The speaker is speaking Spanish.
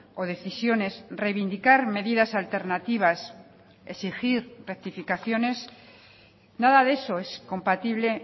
o decisiones reivindicar medidas alternativas exigir rectificaciones nada de eso es compatible